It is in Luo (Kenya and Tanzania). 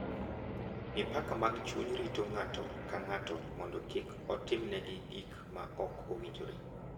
Mipaka mag chuny rito ng’ato ka ng’ato mondo kik otimnegi gik ma ok owinjore